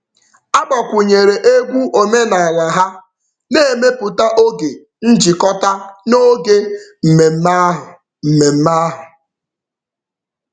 A gbakwunyere egwu omenaala ha, na-emepụta oge njikọta n'oge mmemme ahụ. mmemme ahụ.